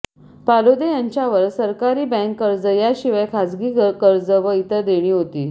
पालोदे यांच्यावर सरकारी बँक कर्ज याशिवाय खाजगी कर्ज व इतर देणी होती